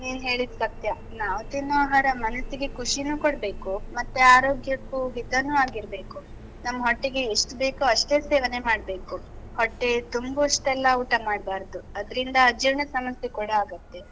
ನೀನ್ ಹೇಳಿದ್ ಸತ್ಯ. ನಾವು ತಿನ್ನೋ ಆಹಾರ ಮನಸ್ಸಿಗೆ ಖುಷಿನೂ ಕೊಡ್ಬೇಕು, ಮತ್ತೆ ಆರೋಗ್ಯಕ್ಕೂ ಹಿತನೂ ಆಗಿರ್ಬೇಕು. ನಮ್ ಹೊಟ್ಟೆಗೆ ಎಷ್ಟು ಬೇಕೋ ಅಷ್ಟೇ ಸೇವನೆ ಮಾಡ್ಬೇಕು. ಹೊಟ್ಟೆ ತುಂಬುವಷ್ಟೆಲ್ಲ ಊಟ ಮಾಡ್ಬಾರ್ದು. ಅದ್ರಿಂದ ಅಜೀರ್ಣ ಸಮಸ್ಯೆ ಕೂಡ ಆಗುತ್ತೆ.